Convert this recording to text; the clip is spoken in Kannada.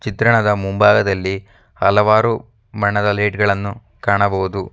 ಚಿತ್ರಣದ ಮುಂಭಾಗದಲ್ಲಿ ಹಲವಾರು ಬಣ್ಣದ ಲೈಟ್ ಗಳನ್ನು ಕಾಣಬಹುದು.